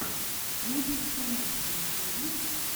носики курносики у тебя есть